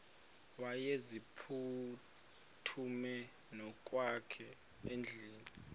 wayeziphuthume ngokwakhe edikeni